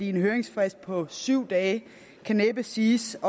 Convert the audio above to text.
en høringsfrist på syv dage kan næppe siges